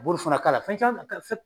Buru fana k'a la, fɛn caman